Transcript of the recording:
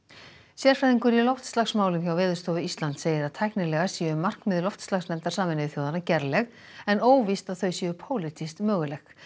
sérfræðingur í loftslagsmálum hjá Veðurstofu Íslands segir að tæknilega séu markmið skýrslu loftslagsnefndar Sameinuðu þjóðanna gerleg en óvíst að þau séu pólitískt möguleg